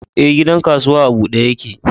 Ee, gidan kasuwa a bude yake.